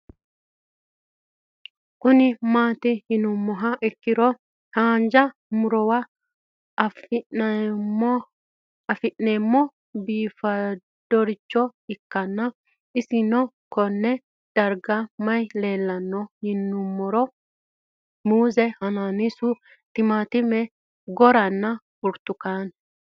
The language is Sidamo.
Kuni mati yinumoha ikiro hanja murowa afine'mona bifadoricho ikana isino Kone darga mayi leelanno yinumaro muuze hanannisu timantime gooranna buurtukaane